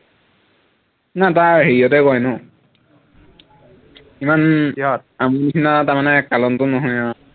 না তাৰ হেৰিয়াতে কয় ন ইমান আমি নিচিনা তাৰমানে কালন্ত নহয় আৰু